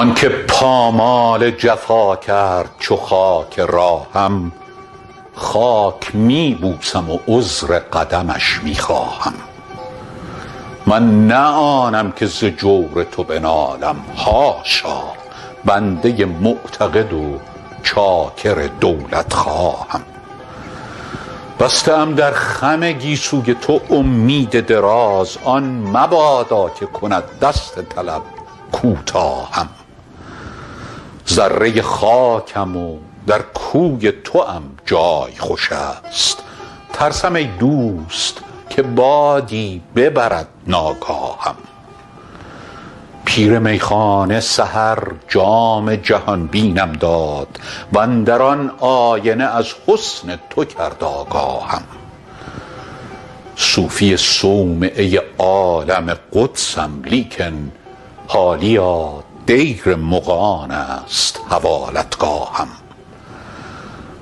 آن که پامال جفا کرد چو خاک راهم خاک می بوسم و عذر قدمش می خواهم من نه آنم که ز جور تو بنالم حاشا بنده معتقد و چاکر دولتخواهم بسته ام در خم گیسوی تو امید دراز آن مبادا که کند دست طلب کوتاهم ذره خاکم و در کوی توام جای خوش است ترسم ای دوست که بادی ببرد ناگاهم پیر میخانه سحر جام جهان بینم داد و اندر آن آینه از حسن تو کرد آگاهم صوفی صومعه عالم قدسم لیکن حالیا دیر مغان است حوالتگاهم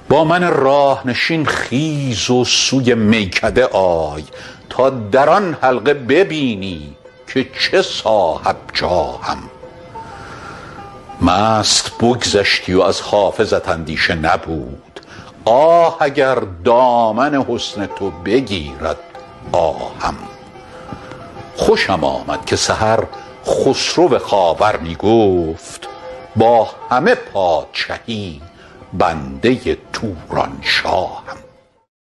با من راه نشین خیز و سوی میکده آی تا در آن حلقه ببینی که چه صاحب جاهم مست بگذشتی و از حافظت اندیشه نبود آه اگر دامن حسن تو بگیرد آهم خوشم آمد که سحر خسرو خاور می گفت با همه پادشهی بنده تورانشاهم